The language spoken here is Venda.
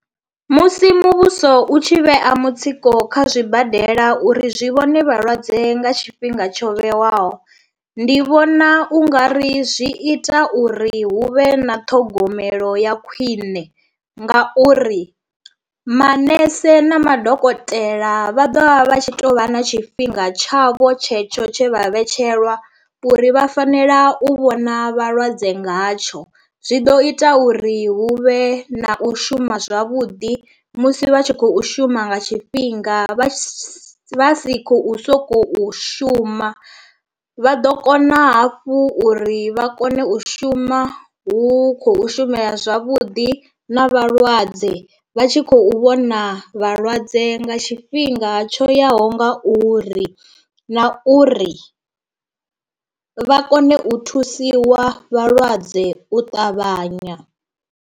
Musi muvhuso u tshi vhea mutsiko kha zwibadela uri zwi vhone vhalwadze nga tshifhinga tsho vhewaho. Ndi vhona u nga ri zwi ita uri hu vhe na ṱhogomelo ya khwiṋe nga uri maṋese na madokotela vha ḓovha vha tshi to vha na tshifhinga tshavho tshetsho tshe vha vhetshelwa uri vha fanela u vhona vhalwadze ngatsho, zwi ḓo ita uri hu vhe na u shuma zwavhuḓi musi vha tshi khou shuma nga tshifhinga vha si vha si khou sokou shuma, vha ḓo kona hafhu uri vha kone u shuma hu khou shumea zwavhuḓi na vhalwadze vha tshi khou vhona na vhalwadze nga tshifhinga tsho yaho nga uri, na uri vha kone u thusiwa vhalwadze u ṱavhanya.